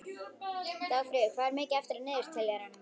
Dagfríður, hvað er mikið eftir af niðurteljaranum?